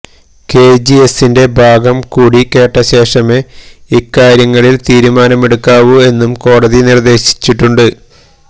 കെജിഎസിന്റെ ഭാഗം കൂടി കേട്ട ശേഷമേ ഇക്കാര്യങ്ങളില് തീരുമാനമെടുക്കാവൂ എന്നും കോടതി നിര്ദ്ദേശിച്ചിട്ടുണ്ട്